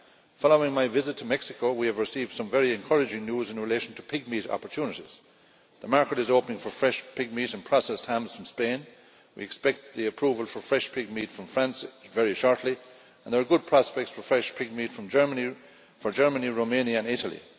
Following my visit to Mexico, we have received some very encouraging news in relation to pigmeat opportunities the market is opening for fresh pigmeat and processed hams from Spain, we expect the approval for fresh pigmeat from France very shortly, and there are good prospects for fresh pigmeat from Germany, Romania and Italy.